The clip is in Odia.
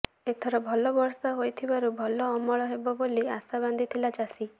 ଏଥର ଭଲ ବର୍ଷା ହୋଇଥିବାରୁ ଭଲ ଅମଳ ହେବ ବୋଲି ଆଶା ବାନ୍ଧିଥିଲା ଚାଷୀ